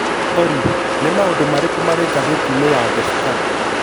Olly, nĩ maũndũ marĩkũ marĩ ngathĩti-inĩ ya The Star